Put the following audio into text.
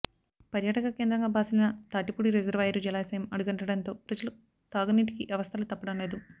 పర్యాటక కేంద్రంగా భాసిల్లిన తాటిపూడి రిజర్వాయరు జలాశయం అడుగంటడంతో ప్రజలు తాగునీటికి అవస్థలు తప్పడం లేదు